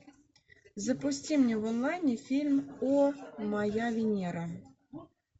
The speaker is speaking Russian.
запусти мне в онлайне фильм о моя венера